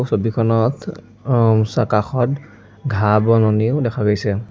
ছবিখনত অ কাষত ঘাঁহ-বননিও দেখা গৈছে।